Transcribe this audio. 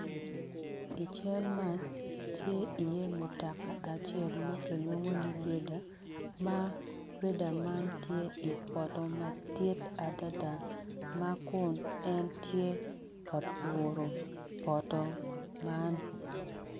I cal ma tye iye motoka acel ma kilwongo ni grader ma grader man tye i poto madit adada ma kun en tye ka puro poto man